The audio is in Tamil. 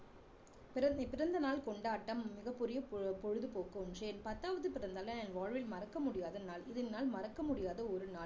பிற~பிறந்தநாள் கொண்டாட்டம் மிகப்பெரிய பொ~பொழுதுபோக்கு ஒன்று என் பத்தாவது பிறந்தநாளை என் வாழ்வில் மறக்க முடியாத நாள் இந்த நாள் மறக்க முடியாத ஒரு நாள்